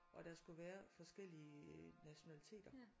Og der skulle være forskellige nationaliteter